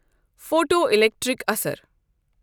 Photo electric اَثَر۔